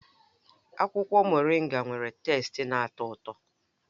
Akwụkwọ Moringa nwere teste na-atọ ụtọ